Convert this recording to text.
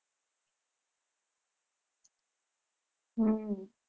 હમ